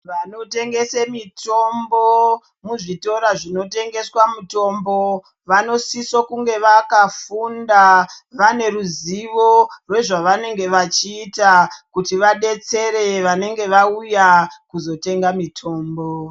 Vanotengesa mitombo muzvikora zvinotengesa mitombo vanosisa kunge vakafunda vane ruzivo rezva vanenge vachiita kuti vadetsere vanenge vauya kuzotenga mitombo.